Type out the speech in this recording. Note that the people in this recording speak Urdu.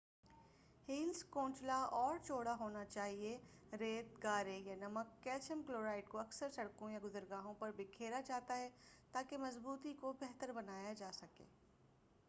ہیلز کو نچلا اور چوڑا ہونا چاہئیے۔ ریت، گارے یا نمک کیلشیئم کلورائیڈ کو اکثر سڑکوں یا گُزرگاہوں پر بکھیرا جاتا ہے تاکہ مضبوطی کو بہتر بنایا جاسکے۔